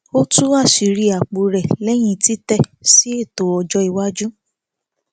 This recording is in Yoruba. ó tú àṣírí apò rẹ léyìn títẹ sí ètò ọjọ iwájú